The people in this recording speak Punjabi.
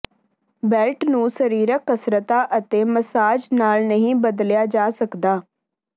ਬੈਲਟ ਨੂੰ ਸਰੀਰਕ ਕਸਰਤਾਂ ਅਤੇ ਮਸਾਜ ਨਾਲ ਨਹੀਂ ਬਦਲਿਆ ਜਾ ਸਕਦਾ